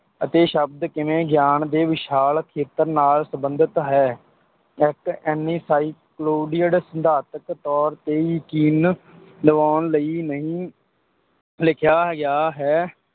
ਅਤੇ ਸ਼ਬਦ ਕਿਵੇਂ ਗਿਆਨ ਦੇ ਵਿਸ਼ਾਲ ਖੇਤਰ ਨਾਲ ਸੰਬੰਧਿਤ ਹੈ, ਇੱਕ ਸਿਧਾਂਤਕ ਤੌਰ 'ਤੇ, ਯਕੀਨ ਦਿਵਾਉਣ ਲਈ ਨਹੀਂ ਲਿਖਿਆ ਗਿਆ ਹੈ,